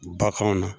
Bakanw na